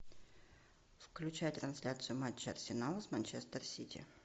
включай трансляцию матча арсенал с манчестер сити